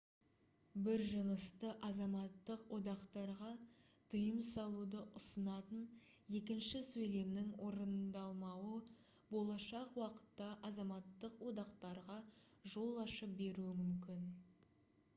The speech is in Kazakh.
бір жынысты азаматтық одақтарға тыйым салуды ұсынатын екінші сөйлемнің орындалмауы болашақ уақытта азаматтық одақтарға жол ашып беруі мүмкін